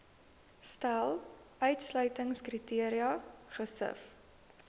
stel uitsluitingskriteria gesif